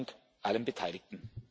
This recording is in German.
Besten Dank allen Beteiligten.